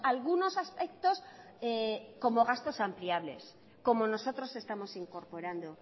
algunos aspectos como gastos ampliables como nosotros estamos incorporando